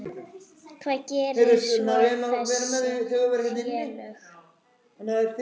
Hvað gera svo þessi félög?